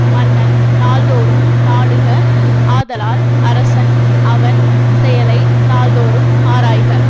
மன்னன் நாள்தோறும் நாடுக ஆதலால் அரசன் அவன் செயலை நாள்தோறும் ஆராய்க